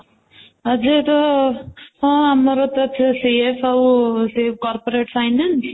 ଆଜି ତ ହଁ ଆମର ତ ସେଇଆ ସବୁ ସେ corporate finance